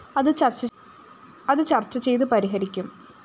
അത് ചര്‍ച്ച ചെയ്തു പരിഹരിക്കും